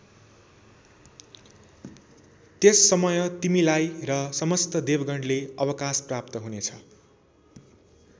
त्यस समय तिमीलाई र समस्त देवगणले अवकाश प्राप्त हुनेछ।